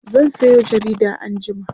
zan Sayo jarida anjima